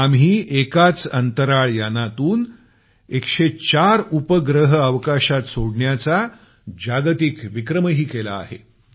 आम्ही एकाच अंतराळ यानातून 104 उपग्रह अवकाशात सोडण्याचा जागतिक विक्रमही केला आहे